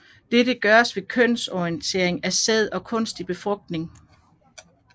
Dette gøres ved kønssortering af sæd og kunstig befrugtning